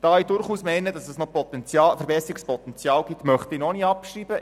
Da ich durchaus meine, dass es noch Verbesserungspotenzial gibt, möchte ich noch nicht abschreiben.